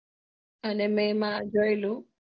અને મેં એમાં જોયેલું